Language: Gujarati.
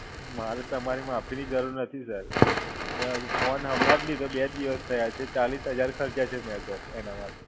મારે તમારી માફીની જરૂર નથી Sir. મેં હજુ ફોન હમણાં જ લીધો. બે દિવસ થયા છે. ચાલીસ હજાર ખરચ્યાં છે મેં Sir, એના માટે.